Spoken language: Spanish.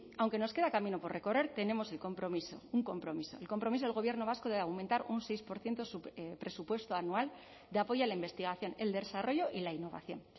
aunque nos queda camino por recorrer tenemos el compromiso un compromiso el compromiso del gobierno vasco de aumentar un seis por ciento su presupuesto anual de apoyo a la investigación el desarrollo y la innovación